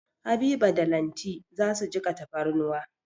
Habiba da Lanti za su jiƙa tafarnuwa.